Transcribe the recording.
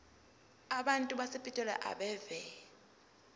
abantu basepitoli abeve